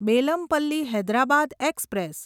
Bellampalli Hyderabad express